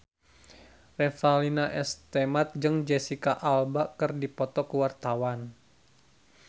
Revalina S. Temat jeung Jesicca Alba keur dipoto ku wartawan